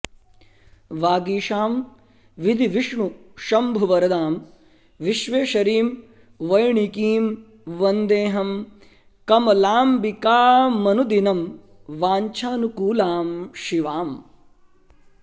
वागीशां विधिविष्णुशम्भुवरदां विश्वेश्वरीं वैणिकीं वन्देऽहं कमलाम्बिकामनुदिनं वाञ्छानुकूलां शिवाम्